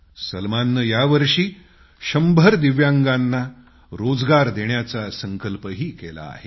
सलमानने यावर्षी 100 दिव्यांगांना रोजगार देण्याचा संकल्पही केला आहे